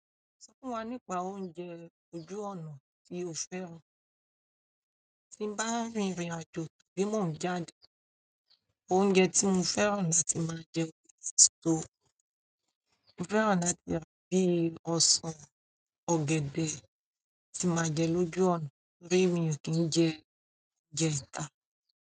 Sọ fún wa nípa oúnjẹ ojú ọ̀nà tí o fẹ́ràn. Tí n bá rìn ìrìn àjò, àbí mò ń jáde, oúnjẹ tí mo fẹ́ràn láti máa jẹ ni sùko. Mo fẹ́ràn láti máa jẹ bíi ọsán ọ̀gẹ̀dẹ̀ tí máa jẹ lójú ọ̀nà, bíi mí kí n jẹ jẹ ìka.